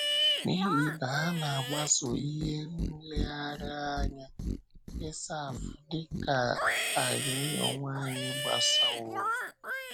N’ihi na ha na-agbaso ihe nlereanya Esáf, dị ka anyị onwe anyị gbasoworò.